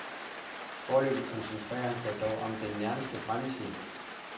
Foreløbig koncentrerer han sig dog om den nærmeste fremtid.